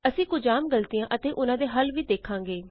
ਅਸੀਂ ਕੁਝ ਆਮ ਗ਼ਲਤੀਆਂ ਅਤੇ ਉਹਨਾਂ ਦੇ ਹੱਲ ਵੀ ਦੇਖਾਂਗੇ